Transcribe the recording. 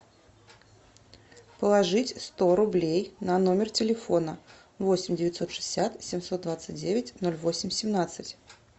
положить сто рублей на номер телефона восемь девятьсот шестьдесят семьсот двадцать девять ноль восемь семнадцать